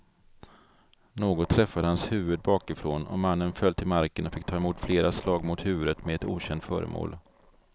Något träffade hans huvud bakifrån och mannen föll till marken och fick ta emot flera slag mot huvudet med ett okänt föremål.